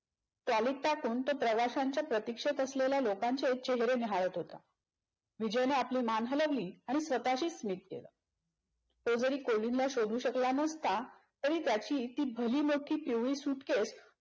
trolley त टाकून तो प्रवाशांच्या प्रतीक्षेत असलेल्या लोकांचे चेहरे न्याहाळत होता. विजयने आपली मान हलवली आणि स्वतःशी स्मित केल. तो जरी कोलिनला शोधू शकला नसता तरी त्याची ती जुनी मोठी पिवळी suitcase